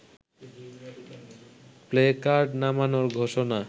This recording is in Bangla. প্লেকার্ড নামানোর ঘোষণা